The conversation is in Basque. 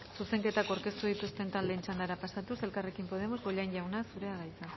zuzenketak aurkeztu dituzten taldeen txandara pasatuz elkarrekin podemos bollain jauna zura da hitza